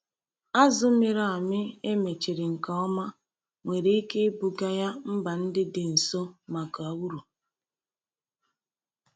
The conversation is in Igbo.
Azù mịrị amị e mechiri nke ọma nwere ike ibuga ya mba ndị dị nso maka uru.